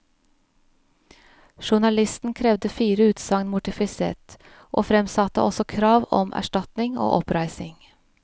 Journalisten krevde fire utsagn mortifisert, og fremsatte også krav om erstatning og oppreisning.